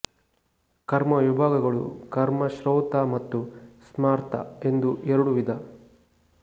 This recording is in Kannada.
ಕರ್ಮವಿಭಾಗಗಳು ಕರ್ಮ ಶ್ರೌತ ಮತ್ತು ಸ್ಮಾರ್ತ ಎಂದು ಎರಡು ವಿಧ